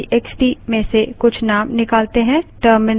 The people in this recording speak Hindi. चलिए marks txt में से कुछ names निकालते हैं